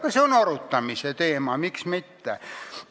Ka see on arutamise teema, miks mitte.